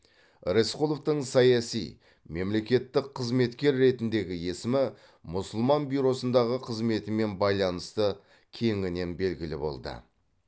рысқұловтың саяси мемлекеттік қызметкер ретіндегі есімі мұсылман бюросындағы қызметімен байланысты кеңінен белгілі болды